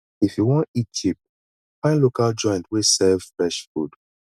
if you wan eat cheap find local joint wey serve fresh food